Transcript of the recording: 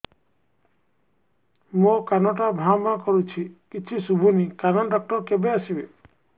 ମୋ କାନ ଟା ଭାଁ ଭାଁ କରୁଛି କିଛି ଶୁଭୁନି କାନ ଡକ୍ଟର କେବେ ଆସିବେ